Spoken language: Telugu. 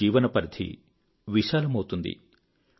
మీ జీవనపరిధి విశాలమౌతుంది